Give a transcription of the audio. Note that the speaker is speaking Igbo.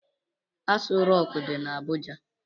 Aso rock di na Abuja.